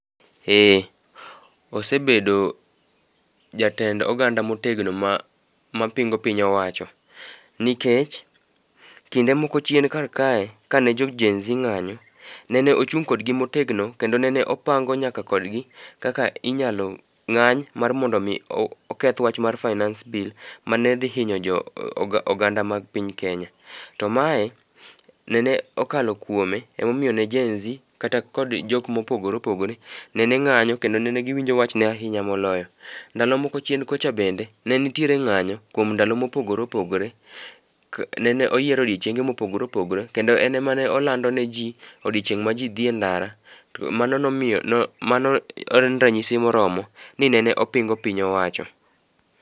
Ee. Osebedo jatend oganda motegno mapingo piny owacho, nikech kinde moko chien kar kae, kane jo jenzi ng'anyo, nene ochung' kodgi motegno kendo nene opango nyaka kodgi kaka inyalo ng'any mar mondo omi oketh wach mar finace bill mane dhi hinyo jo oganda mag piny kenya. To mae, nene okalo kuome emomiyo ne jenzi kata kod jok mopogore opogore nene ng'anyo kendo nene giwinjo wachne ahinya moloyo. Ndalo moko chien kucha bende, ne nitiere ng'anyo kuom ndalo mopogore opogore. Nene oyiero odiochieng'e mopogore opogore kendo en em ane olando neji odiochieng' ma ji dhi e ndara to mano en ranyisi moromo ni nene opingo piny owacho.